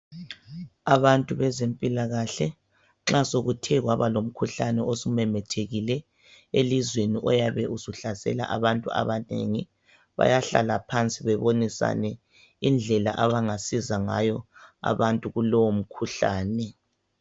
Abantu bezempilakahle nxa sokuthe kwaba lomkhuhlane osumemethekile elizweni oyabe usuhlasela abantu abanengi bayahlala phansi bebonisane indlela abangasiza ngayo abantu kulowo mkhuhlane.